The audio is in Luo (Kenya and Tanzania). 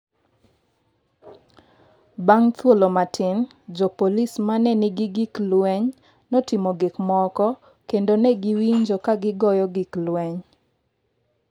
Bang’ thuolo matin, jopolisi ma ne nigi gik lweny notimo gik moko, kendo ne giwinjo ka gigoyo gik lweny.